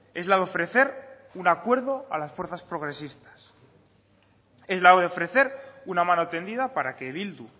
es la de ofrecer un acuerdo a las fuerzas progresistas es la de ofrecer una mano tendida para que bildu